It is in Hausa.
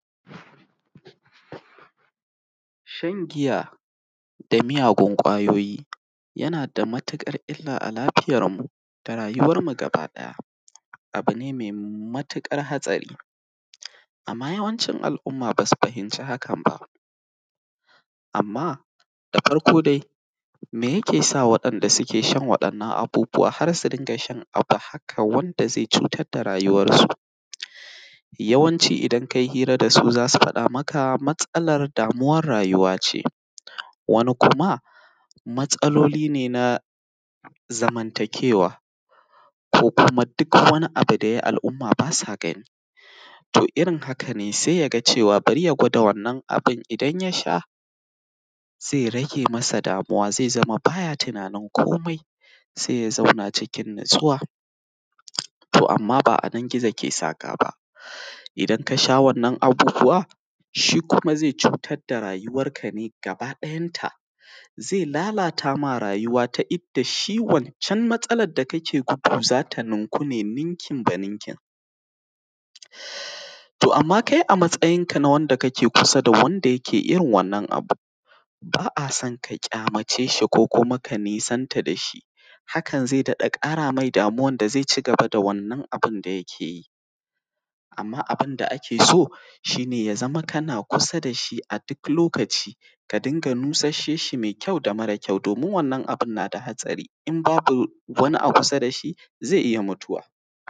Shan giya da miyagun ƙwayoyi yana matuƙar illa a lafiyarmu da rayuwarmu gaba ɗaya, abu ne ne matuƙar hatsari. Amma yawancin al’umma basu fahimci haka ba, amma da farko dai meya ke sa waɗanda suke shan waɗannan abubuwa har su dinga shan abu haka wanda zai cutar da rayuwarsu? Yawanci idan kai hira dasu zasu faɗa maka matsalar damuwar rayuwa ce, wani kuma matsaloli ne na zamantakewa, ko kuma duk wani abu yayi al’umma basa gani, to irin haka ne sai yaga cewa bari ya gwada wannan abun idan yasha zai rage masa damuwa, ze zama baya tunani kome sai ya zauna cikin natsuwa, to amma ba anan gizo ke saka ba, idan kasha wannan abubuwa shi kuma zai cutar da rayuwanka ne gaba ɗayanta, ze lalatama rayuwa ta inda shi wan can matsalar da kake gudu zata ninku ne, ninkin ba ninkin. To amma kai a matsayinka na Wanda kake kusa da wanda yake irin wannan abu, ba a son ka kyamace shi ko kuma ka nisanta dashi, hakan zai dada ƙara mai damuwan da zai ci gaba wannan abun d yake yi. Amman abinda ake so shi ne ya zama kana kusa dashi a duk lokacin ka dunga nushashe shi me kyau da mare kyau, domin wannan abun nada hatsari, in babu wani a kusa dashi ze iya mutuwa.